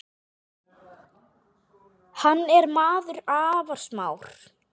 Hann er maður afar smár.